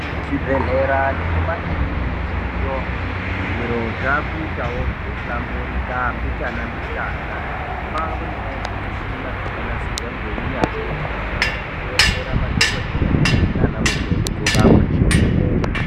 Kuzvibhedhlera nekumakurinikiyo zvinhu zvakuita zveihlamburika mbichana mbichana kwanewo zvimushina zvakanasirwa neunyanzvi hukurutu zvikubetsera madhogodheya nana mukoti kurapa nekuvheneka.